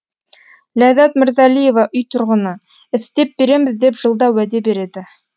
ләззат мырзалиева үй тұрғыны істеп береміз деп жылда уәде береді